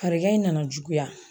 Farigan in nana juguya.